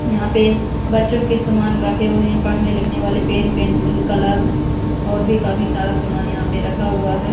यहां पे बच्चों के सामान रखे हुए हैंपढ़ने लिखने वाले पेन पेंसिल कलर और भी काफी सारा सामान यहां पे रखा हुआ है।